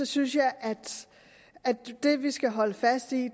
synes jeg at det vi skal holde fast i